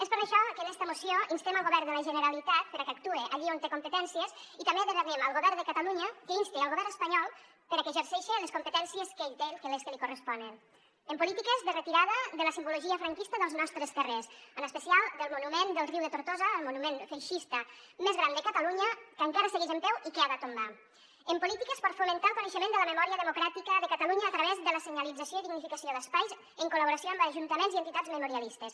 és per això que en esta moció instem el govern de la generalitat perquè actue allí on té competències i també demanem al govern de catalunya que inste el govern espanyol perquè exerceixi les competències que ell té les que li corresponen en polítiques de retirada de la simbologia franquista dels nostres carrers en especial del monument del riu de tortosa el monument feixista més gran de catalunya que encara segueix en peu i que ha de tombar en polítiques per fomentar el coneixement de la memòria democràtica de catalunya a través de la senyalització i dignificació d’espais en col·laboració amb ajuntaments i entitats memorialistes